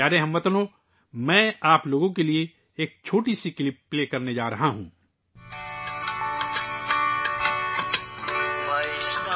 پیارے ہم وطنو، میں آپ کے لئے ایک چھوٹا سا کلپ چلانے جا رہا ہوں.....